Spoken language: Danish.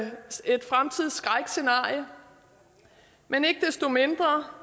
et dystopisk fremtidsskrækscenarie men ikke desto mindre